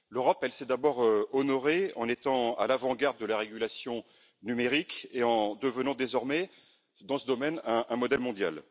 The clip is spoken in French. L'Europe s'est d'abord honorée en étant à l'avant garde de la régulation numérique et en devenant désormais dans ce domaine un modèle mondial.